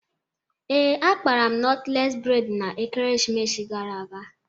Ee, akpara m nọtles bredna ekeresimesi gara aga